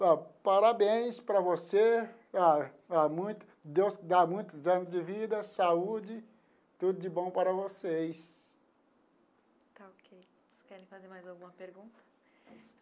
Parabéns para você, ah ah muito Deus te dá muitos anos de vida, saúde, tudo de bom para vocês.